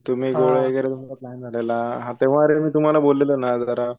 तुम्ही गोवा वगैरे पण तुमचा प्लॅन झालेला तेव्हा अरे मी तुम्हाला बोललेलो ना यार जरा